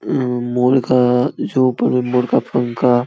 अम्म मोर का जो ऊपर में मोर का पंख का --